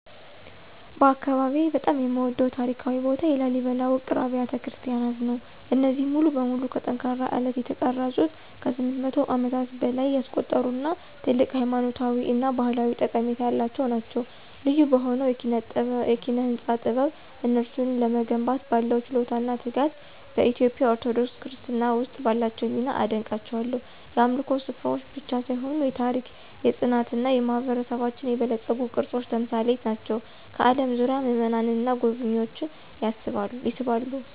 በአካባቢዬ በጣም የምወደድበት ታሪካዊ ቦታ የላሊበላ ውቅር አብያተ ክርስቲያናት ነው። እነዚህ ሙሉ በሙሉ ከጠንካራ አለት የተቀረጹት ከ800 ዓመታት በላይ ያስቆጠሩ እና ትልቅ ሃይማኖታዊ እና ባህላዊ ጠቀሜታ ያላቸው ናቸው። ልዩ በሆነው የኪነ-ህንፃ ጥበብ፣ እነሱን ለመገንባት ባለው ችሎታ እና ትጋት፣ በኢትዮጵያ ኦርቶዶክስ ክርስትና ውስጥ ባላቸው ሚና አደንቃቸዋለሁ። የአምልኮ ስፍራዎች ብቻ ሳይሆኑ የታሪክ፣ የፅናት እና የማህበረሰባችን የበለፀጉ ቅርሶች ተምሳሌት ናቸው፣ ከአለም ዙሪያ ምእመናንን እና ጎብኝዎችን ይስባሉ።